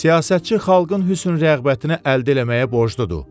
Siyasətçi xalqın hüsn rəğbətini əldə eləməyə borcludur.